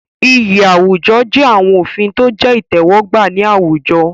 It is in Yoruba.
Iyì àwùjọ jẹ́ àwọn òfin tó jẹ́ ìtẹ́wọ́gbà ní àwùjọ.